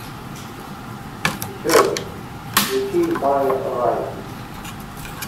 джой включи мая райт